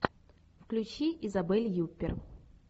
включи изабель юппер